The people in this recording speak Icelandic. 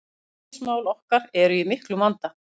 Gengismál okkar eru í miklum vanda